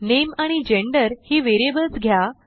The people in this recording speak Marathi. नामे आणि जेंडर ही व्हेरिएबल्स घ्या